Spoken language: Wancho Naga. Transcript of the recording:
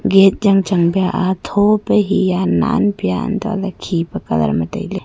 gate jang chang bia thopia hiya nanpia untoh lahley khipa colour ma tailey.